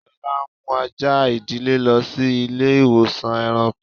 Lọla n mú àjà idílé lọ sí ilẹ̀-ìwọ̀sàn èràṇkọ́.